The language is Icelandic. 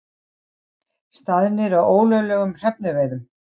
Staðnir að ólöglegum hrefnuveiðum